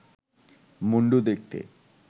মুণ্ডু দেখতে